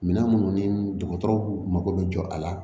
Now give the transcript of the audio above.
Minɛn minnu ni dɔgɔtɔrɔw mako bɛ jɔ a la